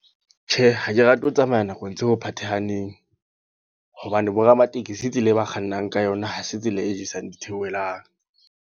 Tjhe, ha ke rate ho tsamaya nakong tseo phathahaneng. Hobane bo ramatekesi tsela eo ba kgannang ka yona, ha se tsela e jesang ditheohelang.